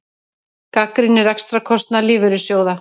Gagnrýnir rekstrarkostnað lífeyrissjóða